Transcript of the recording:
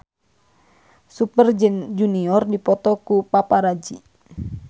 Super Junior dipoto ku paparazi